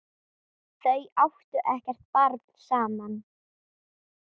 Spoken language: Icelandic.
Þau áttu ekkert barn saman.